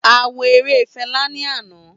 A wo ere Fẹla ni ana.